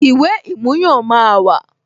Ìwé ìmúyàn máa wà